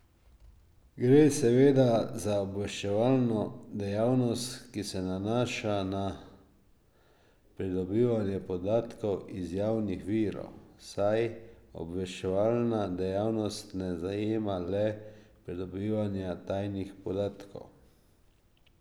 Gre seveda za obveščevalno dejavnost, ki se nanaša na pridobivanje podatkov iz javnih virov, saj obveščevalna dejavnost ne zajema le pridobivanja tajnih podatkov.